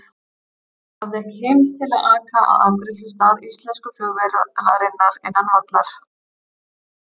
Hafði ekki heimild til að aka að afgreiðslustað íslensku flugvélarinnar innan vallar.